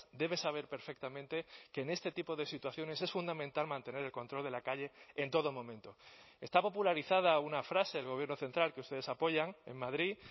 debe saber perfectamente que en este tipo de situaciones es fundamental mantener el control de la calle en todo momento está popularizada una frase del gobierno central que ustedes apoyan en madrid